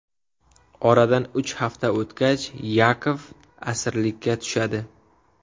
Oradan uch hafta o‘tgach Yakov asirlikka tushadi.